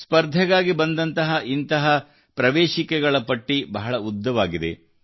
ಸ್ಪರ್ಧೆಗಾಗಿ ಬಂದಂತಹ ಇಂತಹ ಅರ್ಜಿಗಳ ಪಟ್ಟಿ ಬಹಳ ಉದ್ದವಾಗಿದೆ